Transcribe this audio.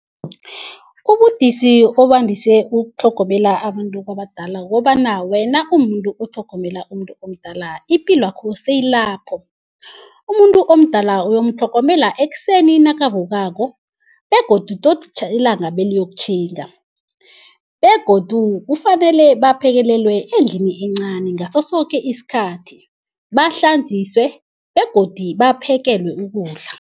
Ubudisi obandise ukutlhogomela abantu abadala kukobana, wena umumuntu otlhogomela umuntu omdala ipilwakho seyilapho. Umuntu omdala uyomtlhogomela ekuseni nakavukako begodu tot ilanga beliyokutjhinga. Begodu kufanele baphekelelwe endlini encani ngaso soke isikhathi, bahlanjiswe begodi baphekelwe ukudla.